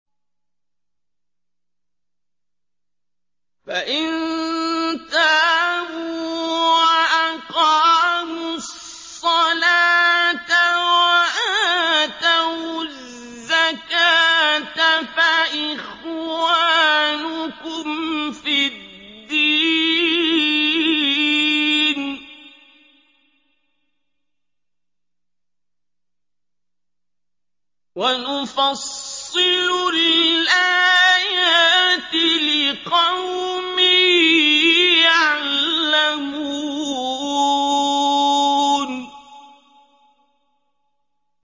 فَإِن تَابُوا وَأَقَامُوا الصَّلَاةَ وَآتَوُا الزَّكَاةَ فَإِخْوَانُكُمْ فِي الدِّينِ ۗ وَنُفَصِّلُ الْآيَاتِ لِقَوْمٍ يَعْلَمُونَ